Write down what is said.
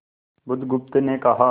बुधगुप्त ने कहा